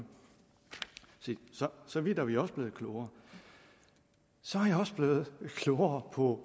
se så vidt er vi også blevet klogere så er jeg også blevet klogere på